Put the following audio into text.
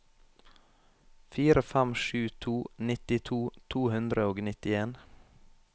fire fem sju to nittito to hundre og nittien